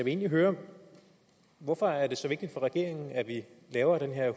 egentlig høre hvorfor er det så vigtigt for regeringen at vi laver den her